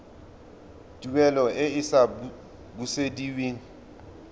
tuelo e e sa busediweng